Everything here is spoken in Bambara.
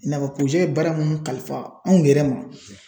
I n'a fɔ ye baara minnu kalifa anw yɛrɛ ma.